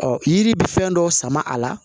Ɔ yiri bɛ fɛn dɔ sama a la